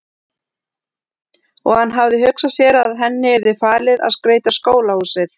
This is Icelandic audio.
Og hann hafði hugsað sér að henni yrði falið að skreyta skólahúsið.